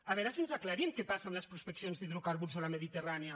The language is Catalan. a veure si aclarim què passa amb les prospeccions d’hidrocar·burs a la mediterrània